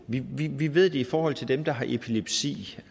vi ved vi ved det i forhold til dem der har epilepsi